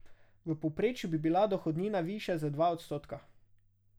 V povprečju bi bila dohodnina višja za dva odstotka.